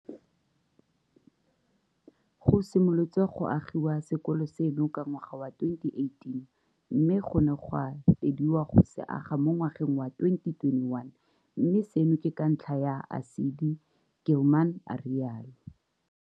Go simolotswe go agiwa sekolo seno ka ngwaga wa 2018 mme go ne ga fediwa go se aga mo ngwageng wa 2021, mme seno ke ka ntlha ya ASIDI, Gilman a rialo.